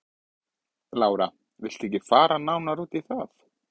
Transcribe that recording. Lára: Vilt þú ekkert fara nánar út í það?